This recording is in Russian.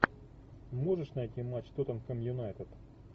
можешь найти матч тоттенхэм юнайтед